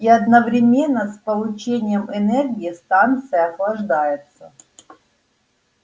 и одновременно с получением энергии станция охлаждается